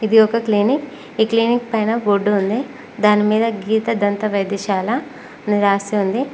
ఇది ఒక క్లీనిక్ ఈ క్లీనిక్ పైన బోర్డు ఉంది దాని మీద గీత దంత వైద్యశాల అని రాసి ఉంది.